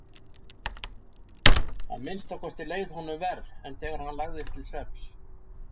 Að minnsta kosti leið honum verr en þegar hann lagðist til svefns.